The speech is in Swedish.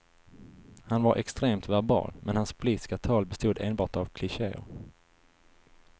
Han var extremt verbal, men hans politiska tal bestod enbart av klichéer.